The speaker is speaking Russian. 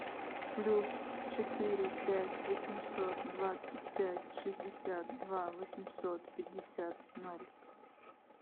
плюс четыре пять восемьсот двадцать пять шестьдесят два восемьсот пятьдесят ноль